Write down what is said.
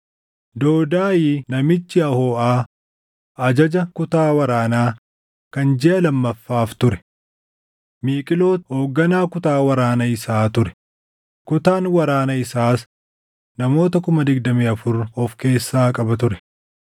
Doodaayi namichi Ahooʼaa ajaja kutaa waraanaa kan jiʼa lammaffaaf ture; Miiqlooti hoogganaa kutaa waraana isaa ture. Kutaan waraana isaas namoota 24,000 of keessaa qaba ture.